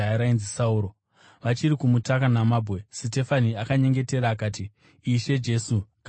Vachiri kumutaka namabwe, Sitefani akanyengetera, akati, “Ishe Jesu, gamuchirai mweya wangu.”